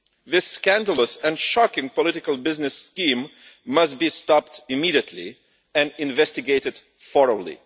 This scandalous and shocking political business scheme must be stopped immediately and investigated thoroughly.